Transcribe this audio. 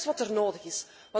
Dat is wat er nodig is.